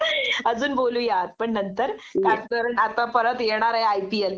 अजून बोलूयात पण नंतर.कारण आता येणारे आई पी एल